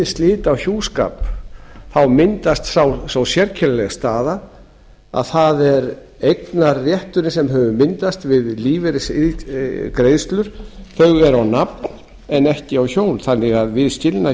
slit á hjúskap myndast sú sérkennilega staða að það er eignarrétturinn sem hefur myndast við lífeyrisiðgreiðslur þau eru á nafn en ekki á hjón þannig að við